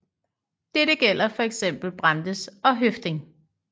Dette gælder for eksempel Brandes og Høffding